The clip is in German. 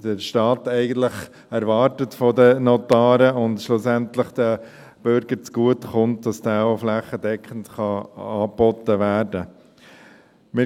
der Staat von den Notaren eigentlich erwartet und der schlussendlich den Bürgern zugutekommt, auch flächendeckend angeboten werden kann.